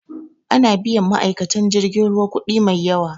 Ana biyan ma'aikatan jirgin ruwa kudi mai yawa.